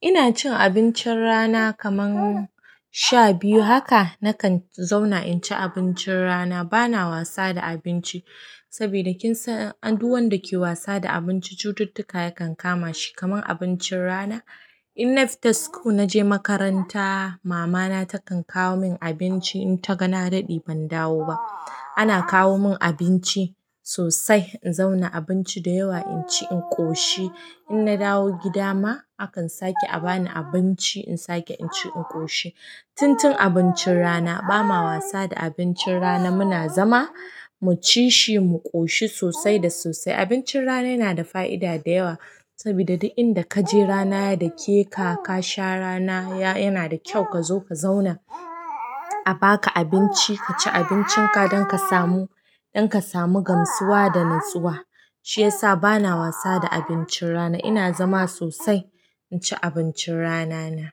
Ina cin abincin rana kaman sha biyu. Haka na kan zauna in ci abincin rana. Bana wasa da abinci sobida kin san duk wanda yake wasa da abinci cucutukar yakan kama shi kaman abincin rana, in na fita school naje makaranta, mama na takan kawo min abinci in ta ga na daɗe ban dawo ba. Ana kawo min abinci sosai. In zauna abinci da yawa in ci in ƙoshi. In na dawo gida ma akan sake a bani abinci in sake in ci in ƙoshi. Tun tun abincin rana ba ma wasa da abincin rana. Muna zama mu ci shi mu ƙoshi sosai da sosai. Abincin rana yana da fa'ida da yawa saboda duk inda ka je rana ya dake ka. Ka sha rana yana da kyau. Ka zo ka zauna a ba ka abinci. Ka ci abincin ka don ka samu don ka samu gamsuwa da natsuwa. Shi yasa bana wasa da abincin rana. Ina zama sosai in ci abincin rana na.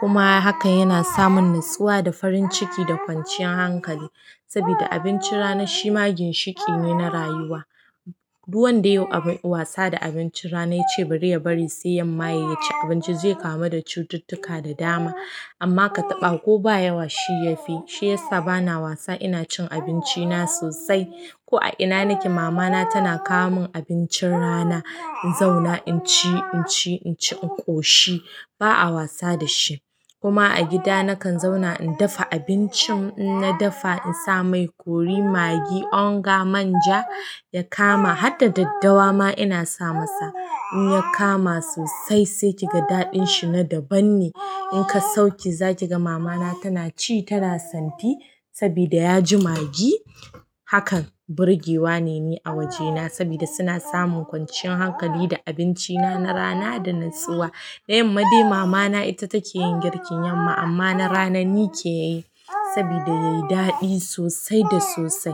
Kuma haka yana samin natsuwa da farin ciki da kwanciyar hankali saboda abincin rana shi ma ginshiƙi ne na rayuwa. Duk wanda yayi wasa da abincin rana ya ce bari ya bari sai 'yan maye ya ci abinci zai kama da cututtuka da dama. Amma ka taɓa ko ba yawa shi ya fi. Shi yasa bana wasa ina cin abinci na sosai. Ko a ina nake mama na tana kawo mun abincin rana in zauna in ci in ci in ci in ƙoshi ba a wasa da shi. Kuma a gida na kan zauna in dafa abincin. In na dafa insa mai kori maggi, onga, manja ya kama. Harda daddawa ma ina sa masa in ya kama sosai sai ki ga daɗin shi na daban ne in ka sauke za ki ga mama na tana ci tana santi saboda ya ji maggi. Hakan burgewa ne ni a wajena saboda suna samun kwanciyar hankali da abinci na, na rana da natsuwa. Na yamma dai mama na ita take yin girkin yamma amma na rana ni ke yi saboda ya yi daɗi sosai da sosai.